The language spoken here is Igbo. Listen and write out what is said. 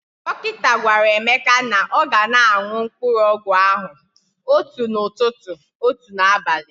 Dọkịta gwara Emeka na ọ ga na aṅụ mkpụrụọgwụ ahụ otu n'ụtụtụ, otu n'abali